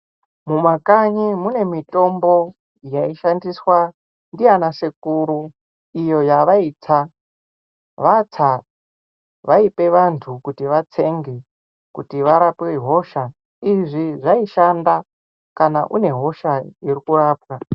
Mumakanyi mune mitombo yaishandiswa ndianasekuru iyo yavaitsa, vatsa vaipe vanhu kuti vatsenge kuti varape hosha. Izvi zvaishanda kana une hosha iri kurapwa.